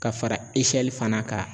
Ka fara fana kan.